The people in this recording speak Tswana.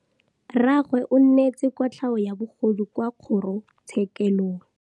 Rragwe o neetswe kotlhaô ya bogodu kwa kgoro tshêkêlông.